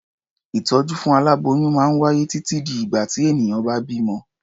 Ìtọ́jú fún aláboyún máa wáyé títí di ìgbà tí ènìyàn bá bímọ.